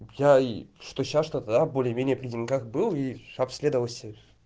я и что сейчас что тогда более или менее при деньгах был и обследовался